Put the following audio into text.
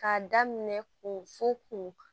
K'a daminɛ ko fo k'o